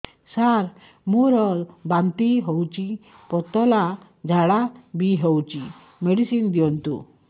ସାର ମୋର ବାନ୍ତି ହଉଚି ପତଲା ଝାଡା ବି ହଉଚି ମେଡିସିନ ଦିଅନ୍ତୁ